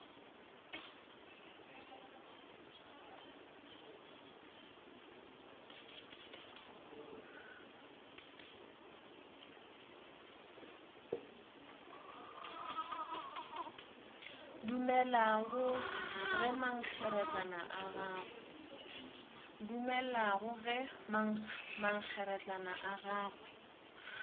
dumelago ge mankgeretlana a gagwe